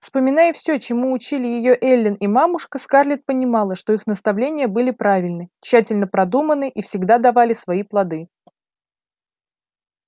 вспоминая всё чему учили её эллин и мамушка скарлетт понимала что их наставления были правильны тщательно продуманы и всегда давали свои плоды